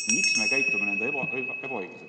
Miks me käitume ebaõiglaselt?